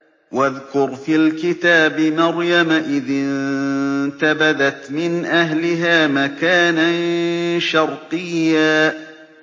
وَاذْكُرْ فِي الْكِتَابِ مَرْيَمَ إِذِ انتَبَذَتْ مِنْ أَهْلِهَا مَكَانًا شَرْقِيًّا